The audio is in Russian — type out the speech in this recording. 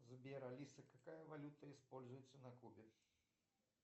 сбер алиса какая валюта используется на кубе